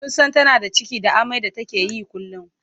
Sun san tana da ciki da amai da take yi kullum.